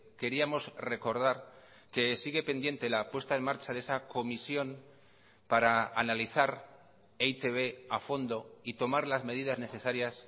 queríamos recordar que sigue pendiente la puesta en marcha de esa comisión para analizar e i te be a fondo y tomar las medidas necesarias